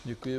Děkuji.